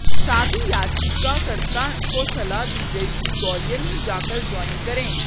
साथ ही याचिकाकर्ता को सलाह दी गई कि वो ग्वालियर में जाकर ज्वाईन करें